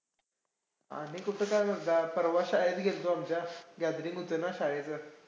आणि कुठं काय मर्दा. परवा शाळेत गेलतो आमच्या. Gathering होतं ना शाळेचं.